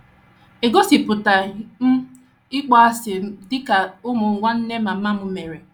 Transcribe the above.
Egosipụtaghị um m ịkpọasị m dị ka ụmụ nwanne mama m mere.